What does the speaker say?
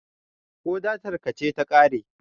ko datarka ce ta kare?